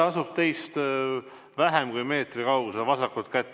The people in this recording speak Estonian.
Ta asub teist vähem kui meetri kaugusel vasakut kätt.